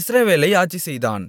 இஸ்ரவேலை ஆட்சிசெய்தான்